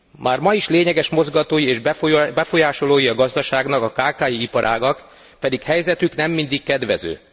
Már ma is lényeges mozgatói és befolyásolói a gazdaságnak a kki iparágak, pedig helyzetük nem mindig kedvező.